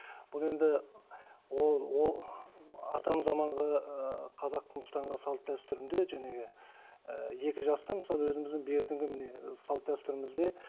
бұл енді ол атам заманғы ыыы қазақтың ұстанған салт дәстүрінде ыыы екі жастың мысалы өзіміздің бертіңгі міне ы салт дәстүрімізде